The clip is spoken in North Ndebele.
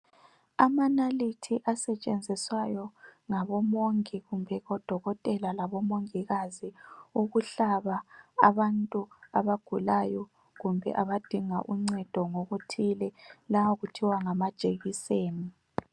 Amanalithi asetshenziswayo ngabo mongi kumbe odokotela labomongikazi ukuhlaba abantu abagulayo kumbe abadinga uncedo ngokuthile lawa kuthiwa ngama jekuseni.